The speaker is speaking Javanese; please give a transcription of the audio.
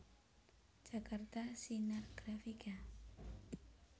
Jakarta Sinar Grafika